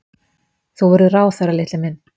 Þú verður ráðherra, litli minn.